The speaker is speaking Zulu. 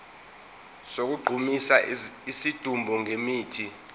sokugqumisa isidumbu ngemithi